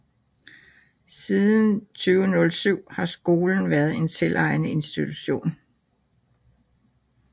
Siden 2007 har skolen været en selvejende institution